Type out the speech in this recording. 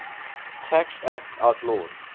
tax act outlawed